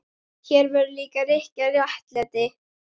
Hér verður líka að ríkja réttlæti.